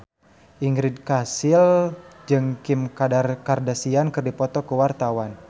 Ingrid Kansil jeung Kim Kardashian keur dipoto ku wartawan